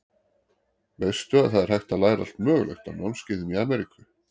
Veistu að það er hægt að læra allt mögulegt á námskeiðum í Ameríku.